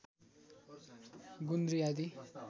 गुन्द्री आदि